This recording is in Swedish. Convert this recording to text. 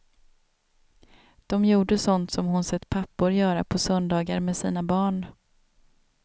De gjorde sånt som hon sett pappor göra på söndagar med sina barn.